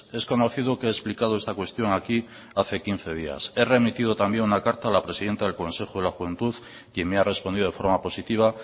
es conocido que he explicado esta cuestión aquí hace quince días he remitido también una carta a la presidenta del consejo de la juventud quien me ha respondido de forma positiva